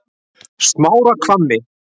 Smárahvammi